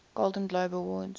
golden globe awards